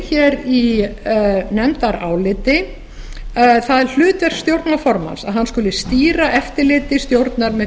hér í nefndaráliti það hlutverk stjórnarformanns að hann skuli stýra eftirliti stjórnar með